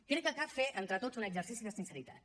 crec que cal fer entre tots un exercici de sinceritat